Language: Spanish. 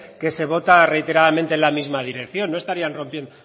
que se vota reiteradamente en la misma dirección no estarían rompiendo